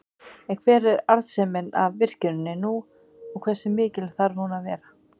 En hver er arðsemin af virkjuninni nú og hversu mikil þarf hún að vera?